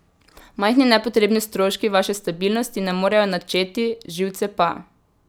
Majhni nepotrebni stroški vaše stabilnosti ne morejo načeti, živce pa.